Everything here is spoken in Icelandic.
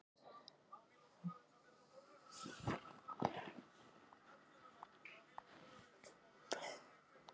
Hann vonaði bara að mamma hans þyrfti ekki að fara á vakt.